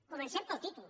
comencem pel títol